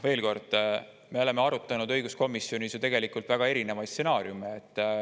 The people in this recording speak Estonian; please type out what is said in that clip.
Veel kord: me oleme õiguskomisjonis arutanud väga erinevaid stsenaariume.